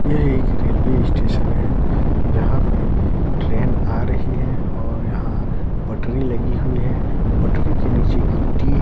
यह एक railway station है जहाँ पे ट्रेन आ रही है और यहाँ पटरी लगी हुई है पटरी के नीचे गिट्टी--